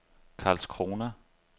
Karlskrona